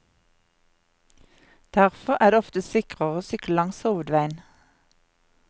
Derfor er det ofte sikrere å sykle langs hovedveien.